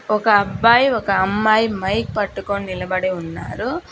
ఒక అబ్బాయి ఒక అమ్మాయి మైక్ పట్టుకొని నిలబడి ఉన్నారు.